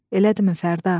Elədimi Fərda?